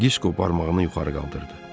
Disko barmağını yuxarı qaldırdı.